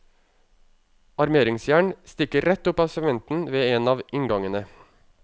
Armeringsjern stikker rett opp av sementen ved en av inngangene.